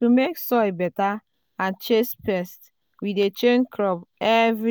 to make soil better and chase pests we dey change crop every